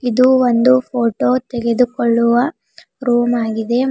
ಇದು ಒಂದು ಫೋಟೋ ತೆಗೆದುಕೊಳ್ಳುವ ರೂಮ್ ಆಗಿದೆ.